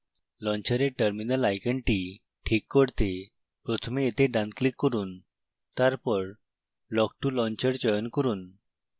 launcher terminal আইকনটি ঠিক করতে প্রথমে এতে ডানclick করুন